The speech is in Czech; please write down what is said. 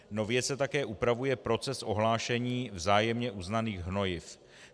Nově se také upravuje proces ohlášení vzájemně uznaných hnojiv.